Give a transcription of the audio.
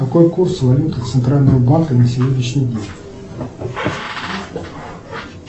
какой курс валюты центрального банка на сегодняшний день